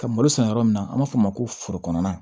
Ka malo san yɔrɔ min na an b'a fɔ o ma ko forokonan